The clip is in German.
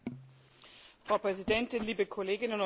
Frau Präsidentin, liebe Kolleginnen und Kollegen!